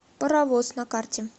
паровоз на карте